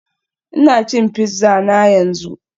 Ina cin pizza na yanzu